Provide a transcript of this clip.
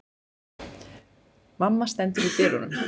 Mamma stendur í dyrunum.